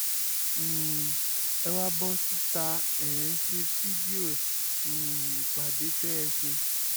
um ẹ wáá bọ́ síta ẹ̀ ń ṣe fídíò um ìpàdé tẹ́ ẹ ṣe